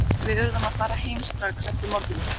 Hvenær í lífinu var þín gleðistund?